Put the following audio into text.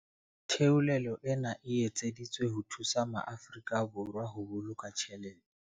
Theolelo ena e etseditswe ho thusa maAfori ka Borwa ho boloka tjhelete.